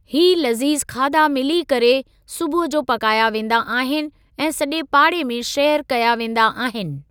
ही लज़ीज़ु खाधा मिली करे सुबुहु जो पकाया वेंदा आहिनि ऐं सॼे पाड़े में शेयर कया वेंदा आहिनि।